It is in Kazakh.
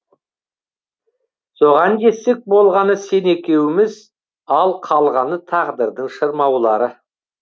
соған жетсек болғаны сен екеуіміз ал қалғаны тағдырдың шырмаулары